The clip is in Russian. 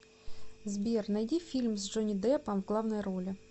сбер найди фильм с джони деппом в главной роли